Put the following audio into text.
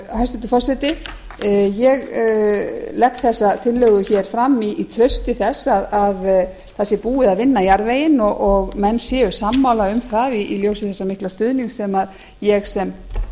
hæstvirtur forseti ég legg þessa tillögu fram í trausti þess að það sé búið að vinna jarðveginn og menn séu sammála um það í ljósi þessa mikla stuðnings sem ég sem